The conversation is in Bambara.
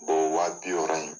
O wa bi wɔɔrɔ in.